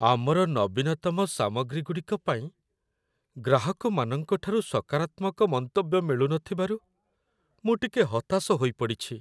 ଆମର ନବୀନତମ ସାମଗ୍ରୀଗୁଡ଼ିକ ପାଇଁ ଗ୍ରାହକମାନଙ୍କଠାରୁ ସକାରାତ୍ମକ ମନ୍ତବ୍ୟ ମିଳୁନଥିବାରୁ ମୁଁ ଟିକେ ହତାଶ ହୋଇପଡ଼ିଛି।